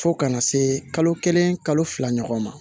Fo kana se kalo kelen kalo fila ɲɔgɔn ma